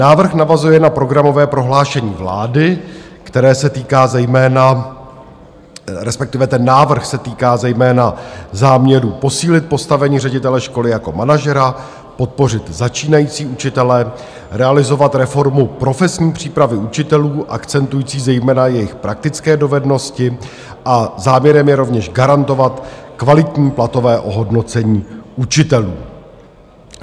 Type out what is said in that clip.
Návrh navazuje na programové prohlášení vlády, které se týká zejména - respektive ten návrh se týká zejména záměru posílit postavení ředitele školy jako manažera, podpořit začínající učitele, realizovat reformu profesní přípravy učitelů akcentující zejména jejich praktické dovednosti, a záměrem je rovněž garantovat kvalitní platové ohodnocení učitelů.